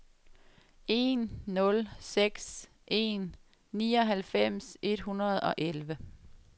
en nul seks en nioghalvfems et hundrede og elleve